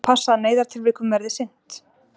Og passa að neyðartilvikum verði sinnt